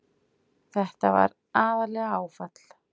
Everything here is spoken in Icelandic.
Þetta var aðallega áfall.